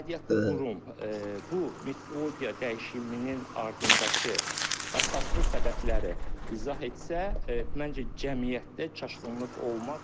Aidiyyatlı qurum bu metodologiya dəyişiminin ardındakı əsaslı səbəbləri izah etsə, məncə cəmiyyətdə çaşqınlıq olmaz.